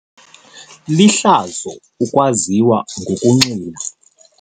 Lihlazo ukwaziwa ngokunxila.